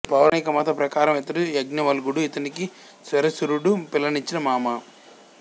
పౌరాణికమత ప్రకారము ఇతడు యాజ్ఞవల్కుడు ఇతనికి శ్వశురుడు పిల్లనిచిన మామ